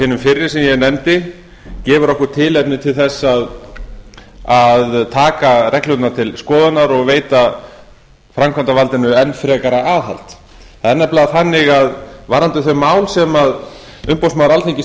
hinum fyrri sem ég nefndi gefur okkur tilefni til taka reglurnar til skoðunar og veita framkvæmdarvaldinu enn frekara aðhald það er nefnilega þannig að varðandi þau mál sem umboðsmaður alþingis